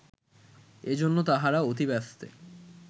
এজন্য তাহারা অতিব্যস্তে